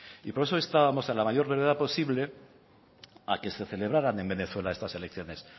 y por eso instábamos en la mayor brevedad posible a que se celebraran en venezuela estas elecciones